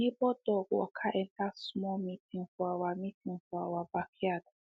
the neighbor dog waka enter small meeting for our meeting for our backyard